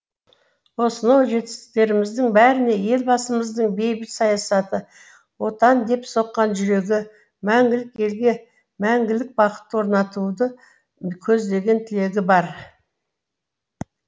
осынау жетістіктеріміздің бәріне елбасымыздың бейбіт саясаты отан деп соққан журегі мәңгілік елге мәңгілік бақыт орнатуды көздеген тілегі бар